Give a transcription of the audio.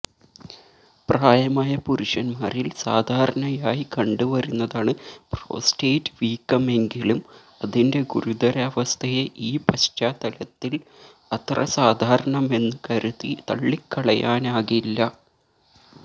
പ്രായമായ പുരുഷന്മാരിൽ സാധാരണയായി കണ്ടുവരുന്നതാണ് പ്രോസ്റ്റേറ്റ് വീക്കമെങ്കിലും അതിന്റെ ഗുരുതരാവസ്ഥയെ ഈ പശ്ചാത്തലത്തിൽ അത്ര സാധാരണമെന്നു കരുതി തള്ളിക്കളയാനാകില്ല